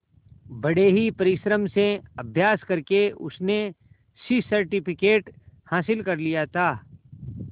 बड़े ही परिश्रम से अभ्यास करके उसने सी सर्टिफिकेट हासिल कर लिया था